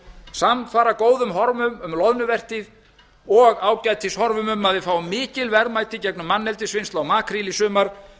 samfara góðum horfum um loðnuvertíð og ágætis horfum um að við fáum mikil verðmæti í gegnum manneldisvinnslu á makríl í sumar